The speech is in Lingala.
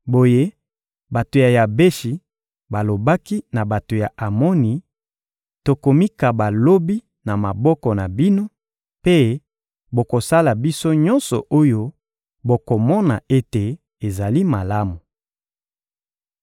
Boye bato ya Yabeshi balobaki na bato ya Amoni: «Tokomikaba lobi na maboko na bino, mpe bokosala biso nyonso oyo bokomona ete ezali malamu.»